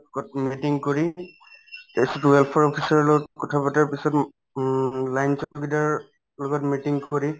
meeting কৰি officer ৰৰ লগত কথাপাতাৰ পিছত উম লগত meeting কৰি